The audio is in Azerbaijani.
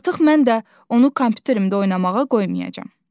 Artıq mən də onu kompyuterimdə oynamağa qoymayacam.